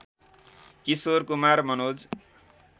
Kishore Kumar Manoj